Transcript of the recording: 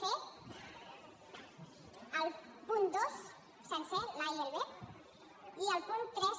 c el punt dos sencer l’a i el b i el punt tres